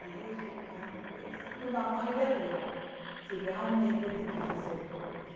Aí ficaram pensando, vamos ir a ver se realmente tem que fazer tudo isso.